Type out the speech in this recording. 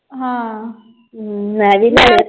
ਹਾਂ। .